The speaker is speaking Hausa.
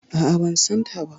A'a, ban san ta ba.